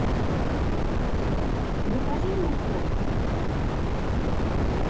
закажи морковь